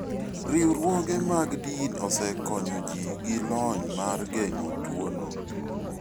Riwruoge mag din osekonyo ji gi lony mar geng'o tuono.